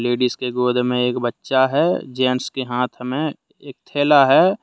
Ladies के गोद में एक बच्चा है जेंट्स के हाथ में एक थैला है।